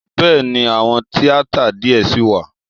Bẹ́ẹ̀ni, àwọn tíátà díẹ̀ ṣì wà.